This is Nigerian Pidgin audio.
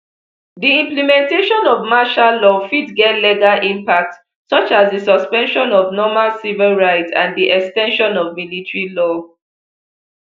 di implementation of martial law fit get legal impacts such as di suspension of normal civil rights and di ex ten sion of military law